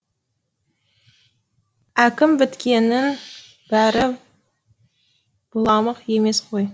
әкім біткеннің бәрі быламық емес қой